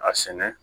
A sɛnɛ